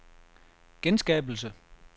genskabelse